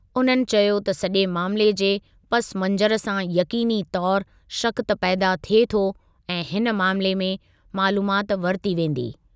उन्हनि चयो त सॼे मामिले जे पसमंज़र सां यक़ीनी तौर शक़ त पैदा थिए थो ऐं हिन मामिले में मालूमात वरिती वेंदी।